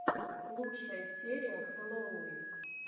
лучшая серия хэллоувин